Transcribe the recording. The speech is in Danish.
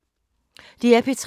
DR P3